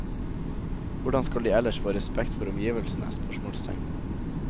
Hvordan skal de ellers få respekt for omgivelsene? spørsmålstegn